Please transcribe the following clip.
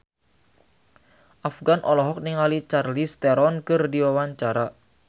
Afgan olohok ningali Charlize Theron keur diwawancara